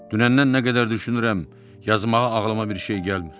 Dünəndən nə qədər düşünürəm, yazmağa ağlıma bir şey gəlmir.